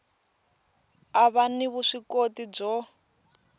a va ni vuswikoti byo